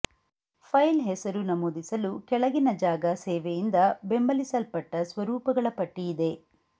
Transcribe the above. file ಹೆಸರು ನಮೂದಿಸಲು ಕೆಳಗಿನ ಜಾಗ ಸೇವೆಯಿಂದ ಬೆಂಬಲಿಸಲ್ಪಟ್ಟ ಸ್ವರೂಪಗಳ ಪಟ್ಟಿಯಿದೆ